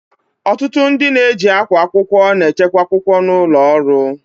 Ọtụtụ ndị na-eji akwa akwụkwọ na-echekwa akwụkwọ n'ụlọ ọrụ